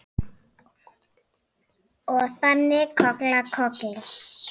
Og þannig koll af kolli.